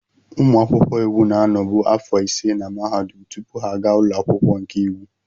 Ụmụ akwụkwọ iwu na-anọbu afọ ise na mahadum tupu ha aga ụlọ akwụkwọ nke iwu.